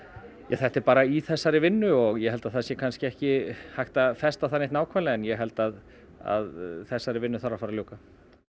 þetta er bara í þessari vinnu og ég held að það sé ekki hægt að festa það neitt nákvæmlega en ég held að að þessari vinnu þarf að fara að ljúka